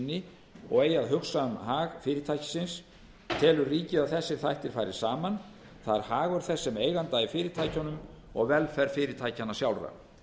sinni og eigi að hugsa um hag fyrirtækisins telur ríkið að þessir þættir fari saman það er hagur þess sem eiganda í fyrirtækjunum og velferð fyrirtækjanna sjálfra